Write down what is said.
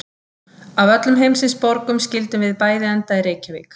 Að af öllum heimsins borgum skyldum við bæði enda í Reykjavík.